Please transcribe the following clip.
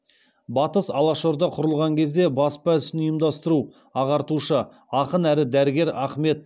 батыс алашорда құрылған кезде баспа ісін ұйымдастыру ағартушы ақын әрі дәрігер ахмет